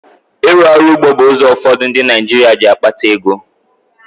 Ịrụ ọrụ ugbo bụ ụzọ ụfọdụ ndị Naịjirịa ji akpata ego.